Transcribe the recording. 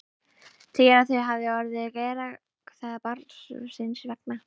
Segir að þau hafi orðið að gera það barnsins vegna.